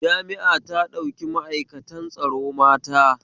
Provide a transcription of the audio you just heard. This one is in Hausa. Jami'a ta ɗauki ma'aikatan tsaro mata